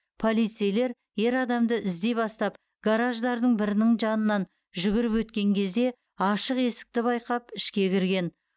полицейлер ер адамды іздей бастап гараждардың бірінің жанынан жүгіріп өткен кезде ашық есікті байқап ішке кірген